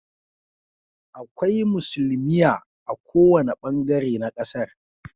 Akwai musulmia a kowane bangare na kasar